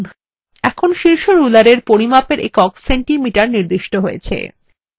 এখন শীর্ষ rulerএর পরিমাপের একক centimeter নির্দিষ্ট হয়েছে